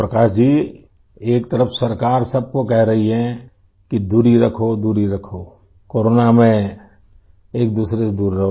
प्रकाश जी एक तरफ सरकार सबको कह रही है कि दूरी रखो दूरी रखोकोरोना में एकदूसरे से दूर रहो